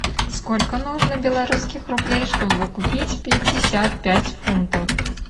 сколько нужно белорусских рублей чтобы купить пятьдесят пять фунтов